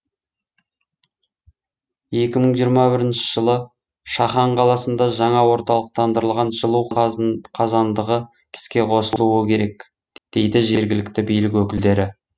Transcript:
екі мың жиырма бірінші жылы шахан қаласында жаңа орталықтандырылған жылу қазандығы іске қосылуы керек дейді жергілікті билік өкілдері